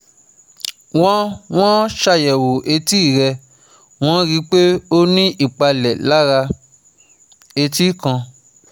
wọ́n wọ́n ṣàyẹ̀wò etí rẹ̀, wọ́n rí i pé ó ní ìpalẹ̀ lára etí kan